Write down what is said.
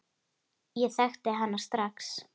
Ég þekkti hana strax.